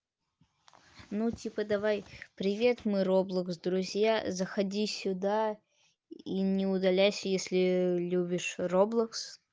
ну типа давай привет мы роблокс друзья заходи сюда и не удаляйся если любишь роблокс